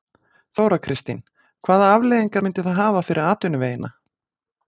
Þóra Kristín: Hvaða afleiðingar myndi það hafa fyrir atvinnuvegina?